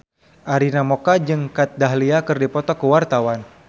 Arina Mocca jeung Kat Dahlia keur dipoto ku wartawan